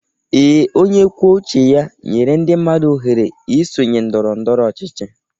Ee, onye kwuo uche ya nyere ndị mmadụ ọhere isonye ndọrọ ndọrọ ọchịchị.